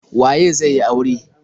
Waye zai yi aure.